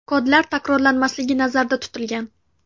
Kodlar takrorlanmasligi nazarda tutilgan.